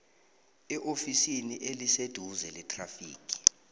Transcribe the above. eofisini eliseduze lethrafigi